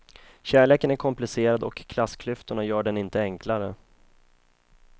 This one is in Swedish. Kärleken är komplicerad och klassklyftorna gör den inte enklare.